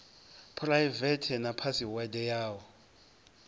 phuraivethe na phasiwede ya u